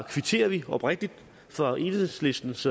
kvitterer vi oprigtigt for enhedslistens